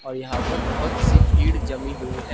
औ यहाँ पर बहोत सी भीड़ जमी हुई है।